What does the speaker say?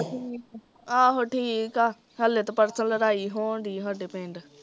ਠੀਕ, ਆਹੋ ਠੀਕ ਆ ਹਲੇ ਤਾਂ ਪਰਸੋਂ ਲੜਾਈ ਹੋਣ ਡਈ ਐ ਸਾਡੇ ਪਿੰਡ